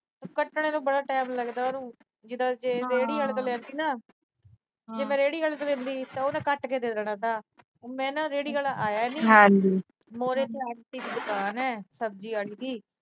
ਕੱਟਣ ਦਾ ਬੜਾ time ਲੱਗਦਾ ਉਹਨੂੰ। ਜਿਦਾਂ ਰੇਹੜੀ ਵਾਲੇ ਤੋਂ ਲਿਆ ਸੀ ਨਾ ਜੇ ਮੈਂ ਰੇਹੜੀ ਵਾਲੇ ਤੋਂ ਲੈਂਦੀ ਤਾਂ ਉਹਨੇ ਕੱਟ ਕੇ ਦੇ ਦੇਣਾ ਥਾ। ਮੈਂ ਨਾ ਰੇਹੜੀ ਆਲਾ ਆਇਆ ਨੀ। ਮੋਢ ਤੇ ਦੁਕਾਨ ਆ ਸਬਜੀ ਆਲੇ ਦੀ।